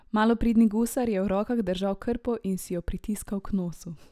Malopridni gusar je v rokah držal krpo in si jo pritiskal k nosu.